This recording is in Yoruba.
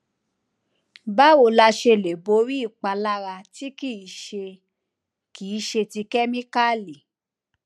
báwo la ṣe lè borí ìpalára tí kì í ṣe kì í ṣe ti kemikali